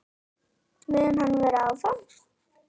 Mun hann vera áfram?